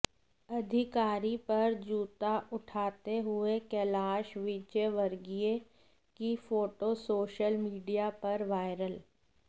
अधिकारी पर जूता उठाते हुए कैलाश विजयवर्गीय की फोटो सोशल मीडिया पर वायरल